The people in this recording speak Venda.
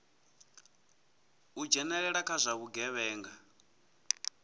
u dzhenelela kha zwa vhugevhenga